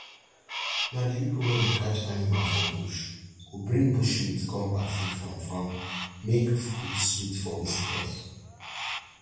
na di pipo wey dey catch animal for bush go bring bush meat come party from farm make food sweet for visitors